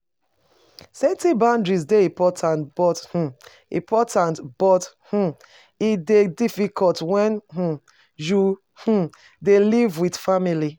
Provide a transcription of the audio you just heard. Setting boundaries dey important, but um important, but um e dey difficult when um you um dey live with family.